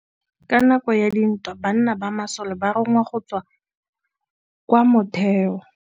Ka nakô ya dintwa banna ba masole ba rongwa go tswa kwa mothêô.